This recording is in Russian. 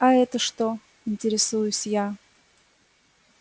а это что интересуюсь я